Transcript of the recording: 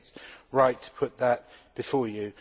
I think it right to put that before you.